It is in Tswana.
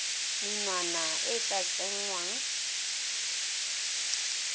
menwana e e tla tsengwang